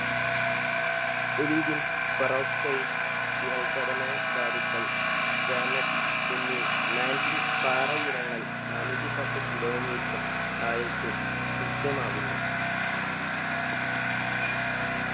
olivine peroxine spinal ഘടന ധാതുക്കൾ gamate എന്നീ mantin പാറയിനങ്ങൾ നാനൂറ്റിപ്പത്ത് kilometer ആഴത്തിൽ ദൃശ്യമാകുന്നു